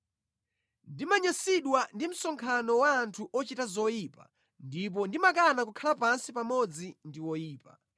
Ndimanyansidwa ndi msonkhano wa anthu ochita zoyipa ndipo ndimakana kukhala pansi pamodzi ndi oyipa.